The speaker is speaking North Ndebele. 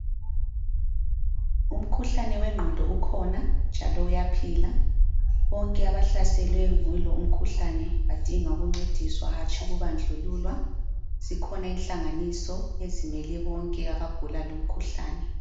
Umkhuhlane wengqondo ukhona njalo uyaphila. Bonke abahlaselwe yilo umkhuhlane badinga ukuncediswa hatshi ukubandlululwa zikhona inhlanganiso ezimele bonke abagula lo umkhuhlane.